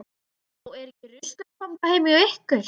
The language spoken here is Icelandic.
Já, er ekki ruslakompa heima hjá ykkur.